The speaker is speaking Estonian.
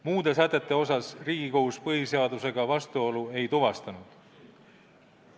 Muude sätete puhul Riigikohus põhiseadusega vastuolu ei tuvastanud.